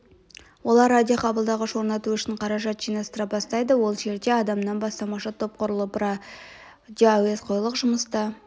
олар радиоқабылдағыш орнату үшін қаражат жинастыра бастайды ол жерде адамнан бастамашы топ құрылып бүкіл радиоәуесқойлық жұмысты